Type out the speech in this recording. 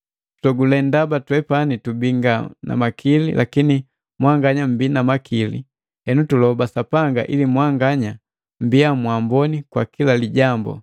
Tutogule ndaba twepani tubii nga na makili, lakini mwanganya mmbii na makili, henu tuloba Sapanga ili mwanganya mmbiya mwamboni kwa kila lijambu.